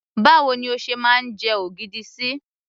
báwo ni o ṣe máa ń jẹ ogidi sí